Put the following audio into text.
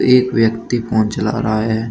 एक व्यक्ति फोन चला रहा है।